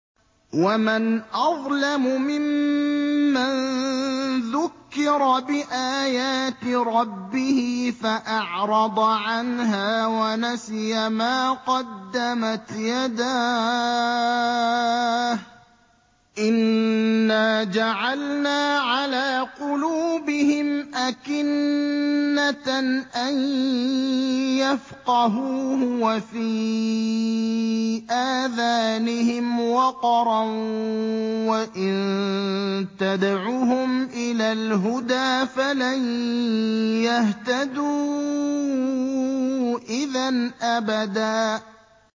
وَمَنْ أَظْلَمُ مِمَّن ذُكِّرَ بِآيَاتِ رَبِّهِ فَأَعْرَضَ عَنْهَا وَنَسِيَ مَا قَدَّمَتْ يَدَاهُ ۚ إِنَّا جَعَلْنَا عَلَىٰ قُلُوبِهِمْ أَكِنَّةً أَن يَفْقَهُوهُ وَفِي آذَانِهِمْ وَقْرًا ۖ وَإِن تَدْعُهُمْ إِلَى الْهُدَىٰ فَلَن يَهْتَدُوا إِذًا أَبَدًا